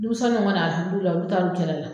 Deminsɛnniw olu taal'u cɛla la.